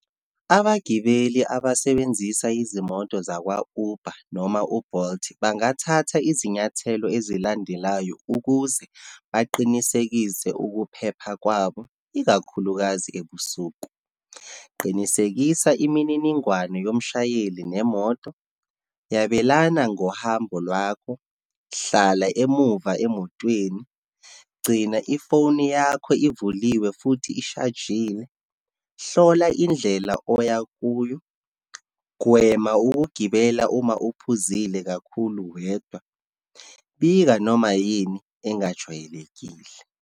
Abagibeli abasebenzisa izimoto zakwa-Uber, noma u-Bolt, bangathatha izinyathelo ezilandelayo ukuze baqinisekise ukuphepha kwabo, ikakhulukazi ebusuku. Qinisekisa imininingwane yomshayeli nemoto, yabelana ngohambo lwakho, hlala emuva emotweni, gcina ifoni yakho ivuliwe, futhi ishajiwe, hlola indlela oya kuyo, gwema ukugibela uma uphuzile kakhulu, wedwa, bika noma yini engajwayelekile.